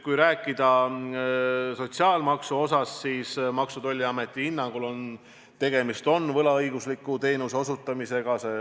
Kui rääkida sotsiaalmaksust, siis Maksu- ja Tolliameti hinnangul on tegemist võlaõigusliku teenuse osutamisega.